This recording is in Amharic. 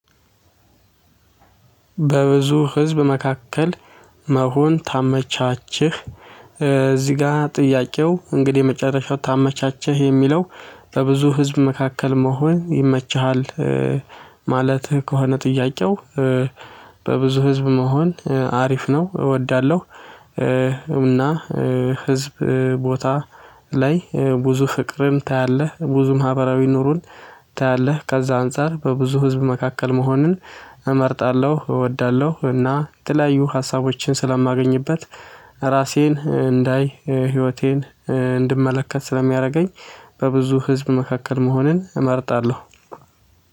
በብዙ ህዝብ መካከል መሆን ታመቻችህ? እዚህ ጋር ጥያቄው እንግዲህ የመጨረሻው ታመቻቸህ የሚለው? ለብዙ ህዝብ መካከል መሆን ይመችሃል? ማለትህ ከሆነ ጥያቄው? በብዙ ህዝብ መሆን አሪፍ ነው እወዳለሁ። እና ህዝብ ቦታ ላይ ብዙ ፍቅርን ታያለህ ብዙ ማህበራዊ ኑሮን ታያለህ ከዛ አንፃር በብዙ ህዝብ መካከል መሆንን እመርጣለሁ እወዳለሁ እና የተለያዩ ሀሳቦችን ስለማገኝበት። ራሴን እንዳይ ህይወቴን እንድመለከት ስለሚያደርገኝ። በብዙ ህዝብ መካከል መሆንን እመርጣለሁ።